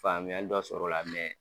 Faamuyali dɔ sɔrɔ la